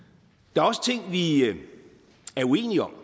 der er også ting vi er uenige om